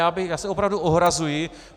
Já se opravdu ohrazuji.